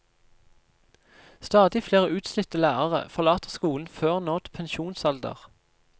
Stadig flere utslitte lærere forlater skolen før nådd pensjonsalder.